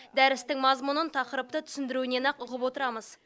дәрістің мазмұнын тақырыпты түсіндіруінен ақ ұғып отырамыз